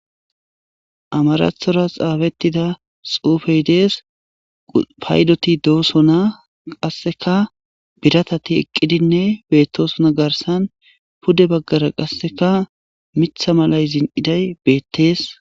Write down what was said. Amarathora xaabettida xoufey dees paydoti doosona qasseka biratati eqqidinne bettoosona garsan pude baggara qasseka mitha malay zin'iday beettees.